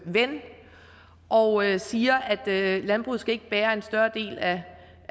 ven og siger at landbruget ikke skal bære en større del